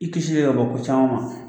I kisi ka bɔ ko caman ma